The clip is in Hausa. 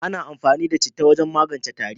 Ana amfani da citta wajen magance tari.